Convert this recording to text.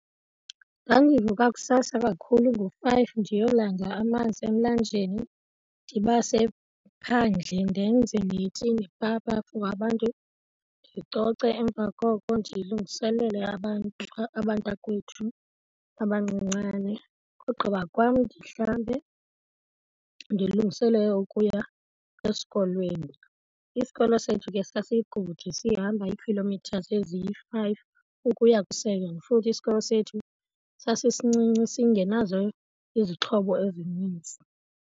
Ndandivuka kusasa kakhulu ngo-five ndiyolanda amanzi emlanjeni. Ndibase ephandle ndenze neti nepapa for abantu, ndicoce emva koko ndilungiselele abantu abantakwethu abancinane. Ogqiba kwam ndihlambe ndilungiselele ukuya esikolweni. Isikolo sethu ke sasikude sihamba iikhilomithazi eziyi-five ukuya ku-seven, futhi isikolo sethu sasisincinci singenazo izixhobo ezininzi.